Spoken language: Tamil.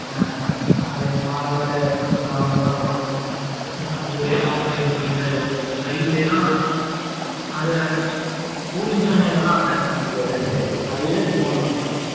ஆ, அது, malware , அந்த problem எல்லாம் வரும். Heat ஆயிரும். Side ல எல்லாம்,